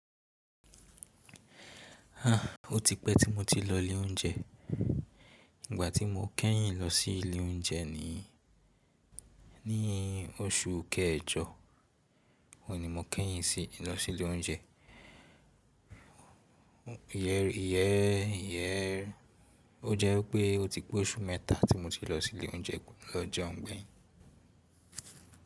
Ó ti pẹ́ tí mo ti lọ ilé oúnjẹ. Ìgbà tí mo kẹ́yìn lọ sí ilé oúnjẹ ni ní oṣù kẹjọ. Óún ni mo kẹ́yìn sí lọ sí ilé oúnjẹ. Iyẹ, iyẹ, ó jẹ́ wipé ó ti pé oṣù mẹ́ta tí mo ti lọ sí ilé oúnjẹ lọ́ jeun gbeyin.